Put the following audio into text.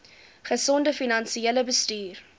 gesonde finansiële bestuur